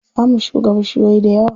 Za mu shuka bishiyoyi dayawa.